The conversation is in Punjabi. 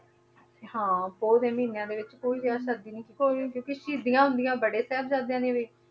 ਹਾਂ ਪੋਹ ਦੇ ਮਹੀਨਿਆਂ ਦੇ ਵਿੱਚ ਕੋਈ ਵਿਆਹ ਸ਼ਾਦੀ ਨੀ, ਕੋਈ ਕਿਉਂਕਿ ਸ਼ਹੀਦੀਆਂ ਹੁੰਦੀਆਂ ਬੜੇ ਸਾਹਿਬਜ਼ਾਦਿਆਂ ਦੀਆਂ ਵੀ,